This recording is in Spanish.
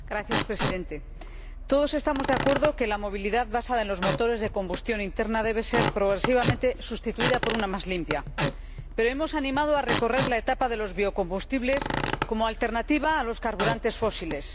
Señor Presidente, todos estamos de acuerdo en que la movilidad basada en los motores de combustión interna debe ser progresivamente sustituida por una más limpia, pero hemos animado a recorrer la etapa de los biocombustibles como alternativa a los carburantes fósiles.